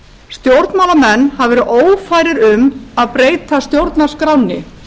stjórnmálamenn hafa verið ófærir um að breyta stjórnarskránni